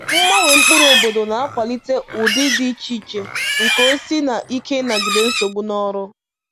Mgbanwe mkpụrụ obodo na-akwalite ụdị dị iche iche nke osisi na ike ịnagide nsogbu n’ọrụ